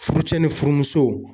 Furucɛ ni furumusow.